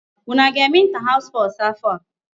Unu aga-eme inter house sports afọ a?